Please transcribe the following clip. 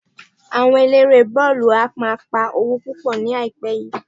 Àwọn Aláré bọ́ọ̀lù ń pa owó púpọ̀ ní àìpẹ́ yìí